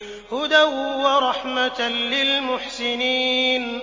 هُدًى وَرَحْمَةً لِّلْمُحْسِنِينَ